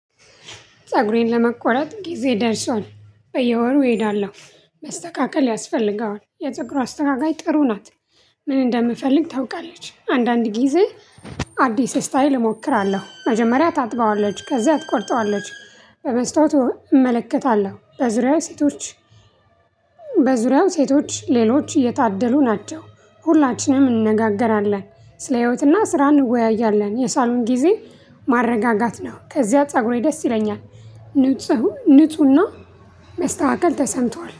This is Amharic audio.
ፀጉሬን ለመቆረጥ ጊዜ ደርሷል። በየወሩ እሄዳለሁ መስተካከል ያስፈልገዋል የፀጉሩ አስተካካይ ጥሩ ናት። ምን እንደምፈልግ ታውቃለች አንዳንድ ጊዜ። አዲስ ስታየል እሞክራለሁ መጀመሪያ ታጥበዋለች ከዛ ትቆርጠዋለች። በመስታወት እመለከታለሁ በዙሪያዬ ሴቶች። በዙሪያው ሴቶች ሌሎች የታደሉ ናቸው። ሁላችንም እንነጋገራለን ስለ ህይወትና ስራ እንወያያለን የሳሎን ጊዜ። ማረጋጋት ነው ከዚያ ፀጉሬ ደስ ይለኛል። ንጹህ ንፁህና መስተካከል ተሰምቷል